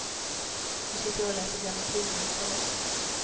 Nu sitter jag och läser gamla tidningar i stället.